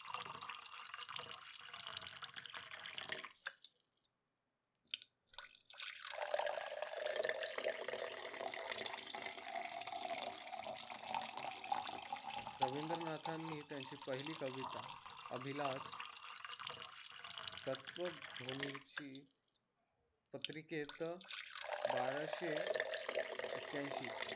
रवींद्रनाथांनी त्यांची पहिली कविता अभिलाष तत्वभूमीची पत्रिकेत बाराशे ऐकयांशी